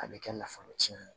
A bɛ kɛ nafolo tiyɛn ye